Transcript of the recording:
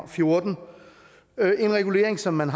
og fjorten en regulering som man